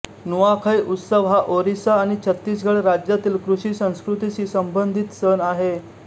नुआखै उत्सव हा ओरिसा आणि छत्तीसगड राज्यातील कृषी संस्कृतीशी संबंधित सण आहे